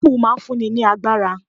Apple' máa n fún ni ní agbára